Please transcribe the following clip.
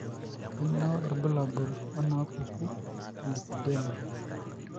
Kainyio irbulabul onaapuku elipedema?